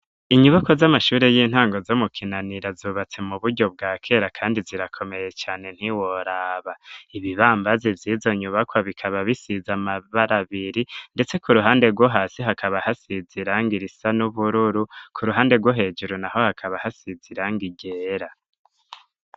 Inyibako z'amashuri y'intango zo mu kinanira zubatse mu buryo bwa kera kandi zirakomeye cyane ntiworaba, ibibambazi byizo nyubakwa bikaba bisiza amabarabiri ndetse ku ruhande rwo hasi hakaba hasiziranga irisa n'ubururu ku ruhande rwo hejeru naho hakaba hasize irangi ryera.